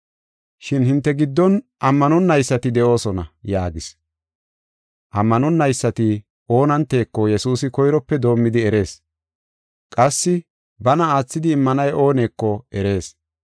Shin hinte giddon ammanonaysati de7oosona” yaagis. Ammanonaysati oonanteko Yesuusi koyrope doomidi erees. Qassi bana aathidi immanay ooneko erees.